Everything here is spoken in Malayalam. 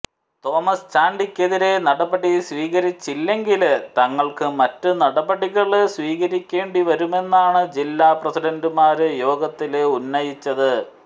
തോമസ് ചാണ്ടിക്കെതിരെ നടപടി സ്വീകരിച്ചില്ലെങ്കില് തങ്ങള്ക്ക് മറ്റ് നടപടികള് സ്വീകരിക്കേണ്ടി വരുമെന്നാണ് ജില്ലാ പ്രസിഡന്റുമാര് യോഗത്തില് ഉന്നയിച്ചത്